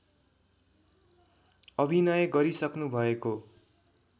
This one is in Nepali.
अभिनय गरिसक्नुभएको